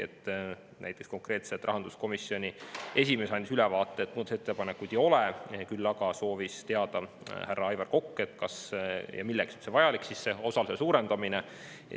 Näiteks rahanduskomisjoni esimees andis ülevaate selle kohta, et muudatusettepanekuid ei ole, küll aga soovis härra Aivar Kokk teada, kas ja milleks üldse on see osaluse suurendamine vajalik.